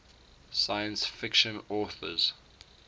science fiction authors